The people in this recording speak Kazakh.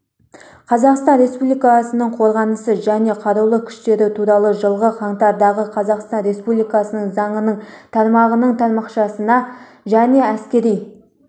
қазақстан республикасының қорғанысы және қарулы күштері туралы жылғы қаңтардағы қазақстан республикасы заңының тармағының тармақшасына және әскери